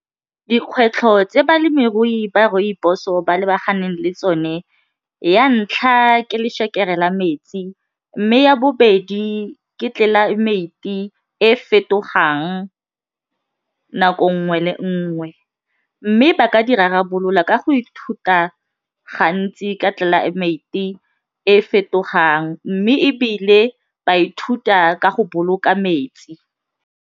Dikgwetlho tse balemirui ba rooibos-o ba lebaganeng le tsone, ya ntlha ke lešekere la metsi mme ya bobedi ke tlelaemete e e fetogang nako nngwe le nngwe mme ba ka di rarabolola ka go ithuta gantsi ka tlelaemete e fetogang mme ebile ba ithuta ka go boloka metsi.